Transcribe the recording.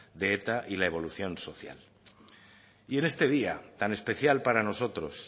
de eta y la evolución social y en este día tan especial para nosotros